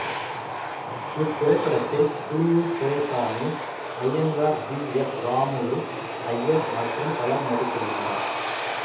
இத்திரைப்படத்தில் Puliyur Duraisamy Iyengar P S Ramulu Iyer மற்றும் பலர் நடித்திருந்தனர்